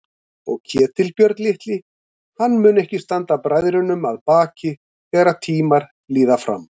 Og Ketilbjörn litli, hann mun ekki standa bræðrunum að baki þegar tímar líða fram.